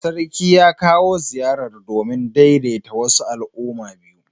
Sarki ya kawo ziyar domin daidaita wasu al'umma biyu.